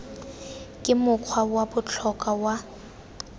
ke mokgwa wa botlhokwa wa